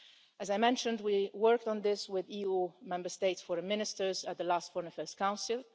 As I mentioned, we worked on this with EU Member States' Foreign Ministers at the last Foreign Affairs Council.